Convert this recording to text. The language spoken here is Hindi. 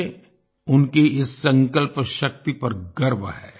मुझे उनकी इस संकल्प शक्ति पर गर्व है